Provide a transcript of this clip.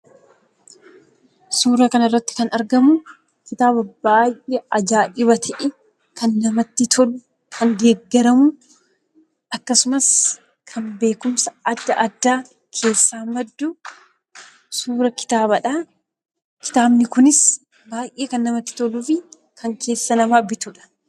Suura kanarratti kan argamu kitaaba baay'ee ajaa'iba ta'e, kan namatti tolu, kan beekumsi adda addaa keessaa maddu suuraa kitaabaadha. Kitaabni kunis baay'ee kan namatti toluu fi kan keessa namaa bitudha.